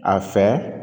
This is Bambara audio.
A fɛ